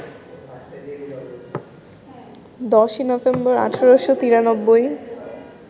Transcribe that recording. ১০ই নভেম্বর, ১৮৯৩